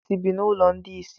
Ndị isi bụ n’ụlọ ndi isi